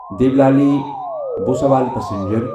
Deolali Bhusawal passenger